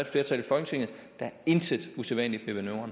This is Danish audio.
flertal i folketinget der er intet usædvanligt